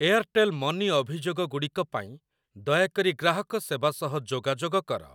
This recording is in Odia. ଏଆର୍‌ଟେଲ୍ ମନି ଅଭିଯୋଗ ଗୁଡ଼ିକ ପାଇଁ ଦୟାକରି ଗ୍ରାହକ ସେବା ସହ ଯୋଗାଯୋଗ କର।